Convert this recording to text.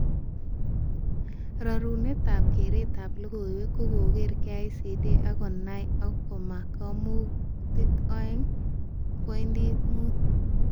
Rarunetab keretab logoiwek kokere KICD eng konai ak komaa kamutik 2.5